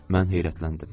Mən heyrətləndim.